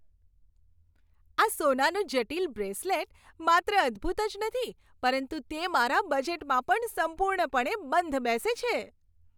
આ સોનાનું જટિલ બ્રેસલેટ માત્ર અદ્ભૂત જ નથી, પરંતુ તે મારા બજેટમાં પણ સંપૂર્ણપણે બંધ બેસે છે.